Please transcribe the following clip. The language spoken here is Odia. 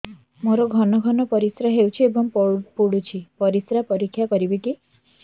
ମୋର ଘନ ଘନ ପରିସ୍ରା ହେଉଛି ଏବଂ ପଡ଼ୁଛି ପରିସ୍ରା ପରୀକ୍ଷା କରିବିକି